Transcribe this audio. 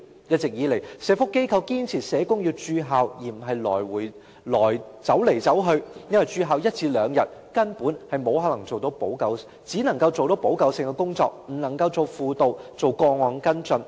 一直以來，社福機構堅持社工要駐校而不是走來走去，因為駐校一至兩天，根本只能夠做補救性工作，不能夠做輔導及個案跟進。